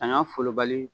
A n y'a fɔ bali